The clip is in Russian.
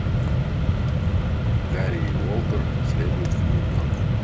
гарри и уолтер следуют в нью йорк